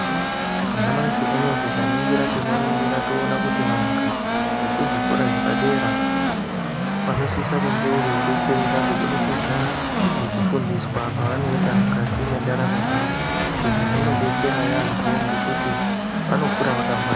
Mamashi unouyu tikaningira tinoningira toona kuti vantu vekuzvikora zvepadera. Vanosise kunge veibetsereka kubudikidza ngekufundiswa kwavanoita mukati mwendaramo dzavo. Izvi zvinobetsera yaambo ngekuti vanokura vakangwara.